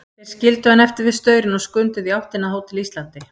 Þeir skildu hann eftir við staurinn og skunduðu í áttina að Hótel Íslandi.